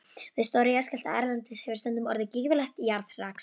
Við stóra jarðskjálfta erlendis hefur stundum orðið gífurlegt jarðrask.